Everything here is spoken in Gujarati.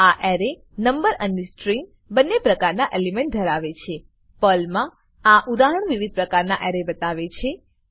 આ એરે નંબર અને સ્ટ્રીંગ બંને પ્રકારના એલિમેન્ટ ધરાવે છે પર્લમા આ ઉદાહરણ વિવિધ પ્રકારના એરે બતાવે છે